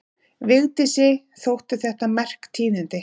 Vigdísi þóttu þetta merk tíðindi.